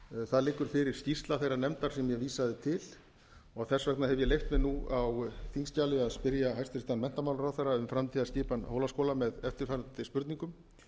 það liggur fyrir skýrsla þeirrar nefndar sem ég vísaði til og þess vegna hef ég leyft mér nú á þingskjali að spyrja hæstvirtan menntamálaráðherra um framtíðarskipan hólaskóla með eftirfarandi spurningum